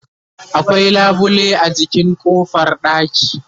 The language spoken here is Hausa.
akwai labule a jikin ƙofar ɗaki